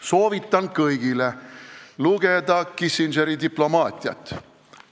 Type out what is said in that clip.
Soovitan kõigil lugeda Kissingeri "Diplomaatiat".